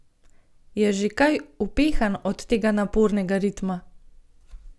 Je že kaj upehan od tega napornega ritma?